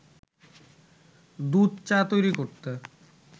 দুধ চা তৈরি করতে